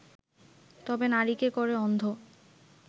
তবে নারীকে করে অন্ধ